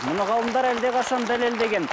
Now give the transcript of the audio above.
мұны ғалымдар әлдеқашан дәлелдеген